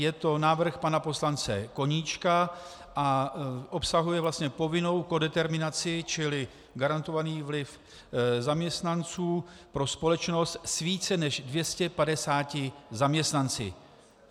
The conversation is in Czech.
Je to návrh pana poslance Koníčka a obsahuje vlastně povinnou kodeterminaci čili garantovaný vliv zaměstnanců pro společnost s více než 250 zaměstnanci.